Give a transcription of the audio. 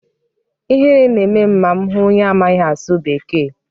Ihere na-eme m ma m hụ onye amaghị asụ bekee.